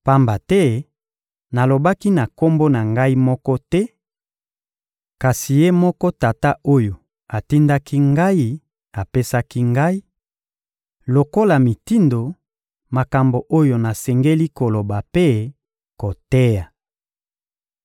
Pamba te nalobaki na Kombo na Ngai moko te; kasi Ye moko Tata oyo atindaki Ngai apesaki Ngai, lokola mitindo, makambo oyo nasengeli koloba mpe koteya.